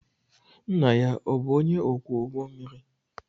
Nna ya ọ̀ bụ onye ọkwọ ụgbọ mmiri?